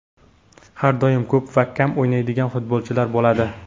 Har doim ko‘p va kam o‘ynaydigan futbolchilar bo‘ladi.